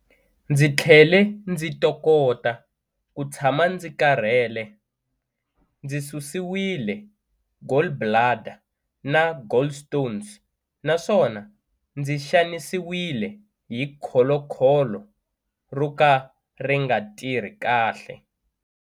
Ndzi tlhele ndzi tokota ku tshama ndzi karhele, ndzi susiwile gallbladder na gallstones naswona ndzi xanisiwile hi kholokholo ro ka ri nga tirhi kahle.